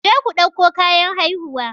Je ku ɗauko kayan haihuwa!